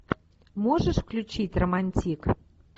можешь включить романтик